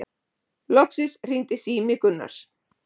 Loksins hringdi sími Gunnars.